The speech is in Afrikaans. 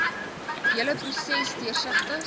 hele proses deursigtig